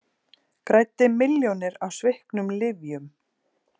Græddi milljónir á sviknum lyfjum